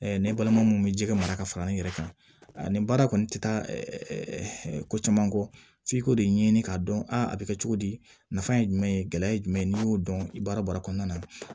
ne balimamu bɛ ji ka mara ka fara ne yɛrɛ kan a ni baara kɔni tɛ taa ko caman kɔ f'i k'o de ɲɛɲini k'a dɔn a bɛ kɛ cogo di nafa ye jumɛn ye gɛlɛya ye jumɛn ye n'i y'o dɔn i baara baara kɔnɔna na